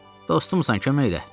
Dostumusan, kömək elə.